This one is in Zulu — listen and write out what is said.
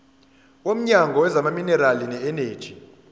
womnyango wezamaminerali neeneji